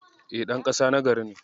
E, ɗan ƙasa na gari ne ni.